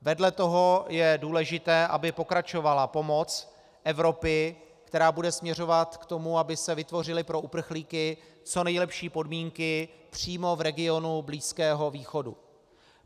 Vedle toho je důležité, aby pokračovala pomoc Evropy, která bude směřovat k tomu, aby se vytvořily pro uprchlíky co nejlepší podmínky přímo v regionu Blízkého východu.